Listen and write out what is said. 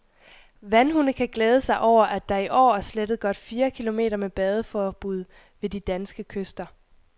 Vandhunde kan glæde sig over, at der i år er slettet godt fire kilometer med badeforbud ved de danske kyster.